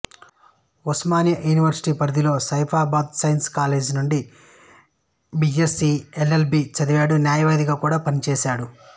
Osmania university పరిధిలోని Saifabad science college నుండి BSc L L B చదివాడు న్యాయవాదిగా కూడా పనిచేశాడు